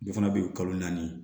Dɔ fana bɛ yen kalo naani